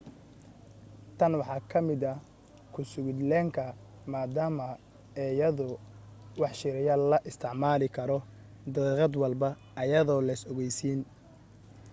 tan waxaa ka mida kusugid leenka maadama eeyada wax shiiriya la isticmaali karo daqiiqad walba ayadoo leys ogeysiin